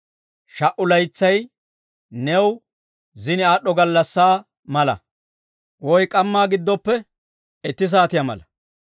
Sha"u laytsay new zini aad'd'o gallassaa mala; woy k'ammaa giddoppe itti saatiyaa mala.